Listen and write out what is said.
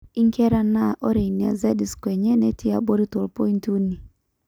inkera naa ore ina z score enye netii abori toompointi uni